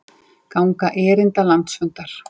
Ganga erinda landsfundar